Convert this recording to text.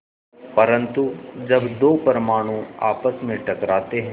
परन्तु जब दो परमाणु आपस में टकराते हैं